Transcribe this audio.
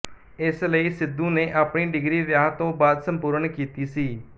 ਇਸ ਲਈ ਸਿੱਧੂ ਨੇ ਆਪਣੀ ਡਿਗਰੀ ਵਿਆਹ ਤੋਂ ਬਾਅਦ ਸੰਪੂਰਨ ਕੀਤੀ ਸੀ